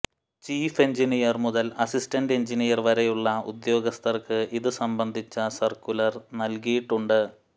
chief engineer മുതൽ assistant engineer വരെയുള്ള ഉദ്യോഗസ്ഥർക്ക് ഇതു സംബന്ധിച്ച സർക്കുലർ നല്കിയിട്ടുണ്ട്